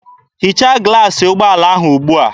Hichaa glaasị ụgbọala ahụ ugbua!